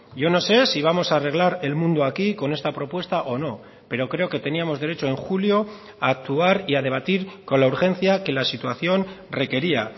yo no sé si vamos a arreglar el mundo aquí con esta propuesta o no pero creo que teníamos derecho en julio a actuar y a debatir con la urgencia que la situación requería